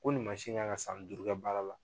Ko nin mansin in in kan ka san duuru kɛ baara la.